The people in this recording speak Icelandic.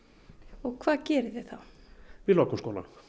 og hvað gerið þið þá við lokum skólanum